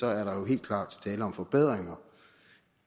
er der jo helt klart tale om forbedringer